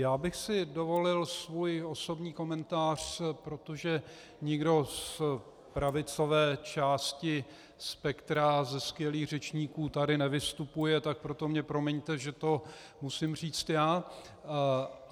Já bych si dovolil svůj osobní komentář, protože nikdo z pravicové části spektra, ze skvělých řečníků, tady nevystupuje, tak proto mi promiňte, že to musím říci já.